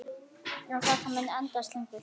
En þetta mun endast lengur.